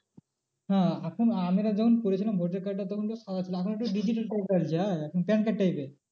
হ্যাঁ এখন আমরা যখন করেছিলাম voter card টা তখন তো ছিল এখন একটু digital হ্যাঁ এখন PAN card type এর